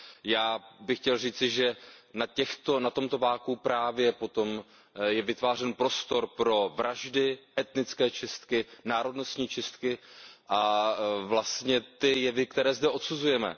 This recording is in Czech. Já bych chtěl říci, že na tomto vakuu právě potom je vytvářen prostor pro vraždy, etnické čistky, národnostní čistky a vlastně ty jevy, které zde odsuzujeme.